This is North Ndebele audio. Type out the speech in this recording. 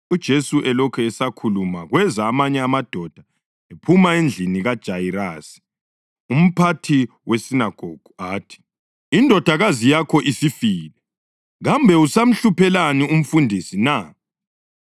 UJesu elokhu esakhuluma kweza amanye amadoda ephuma endlini kaJayirasi, umphathi wesinagogu. Athi, “Indodakazi yakho isifile. Kambe usamhluphelani umfundisi na?”